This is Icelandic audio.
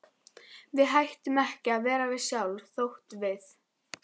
Við hættum ekki að vera við sjálf þótt við.